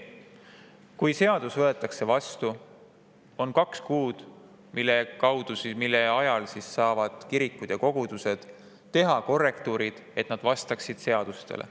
Kui seadus võetakse vastu, on aega kaks kuud, et kirikud ja kogudused saaksid teha korrektuurid, et nad vastaksid seadusele.